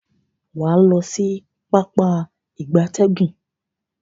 Waa lo si Pápá ìgbatẹ́gùn.